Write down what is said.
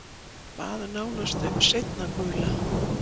Bað nánast um seinna gula.